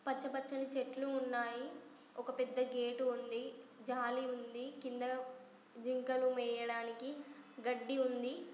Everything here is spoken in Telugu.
పచ్చ పచ్చ ని చెట్టులు ఉన్నాయ్. ఒక పెద్ద గేట్ ఉంది. జాలి ఉంది. కింద జింకలు మేయడానికి గడ్డి ఉంది.